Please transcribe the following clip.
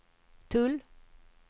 tull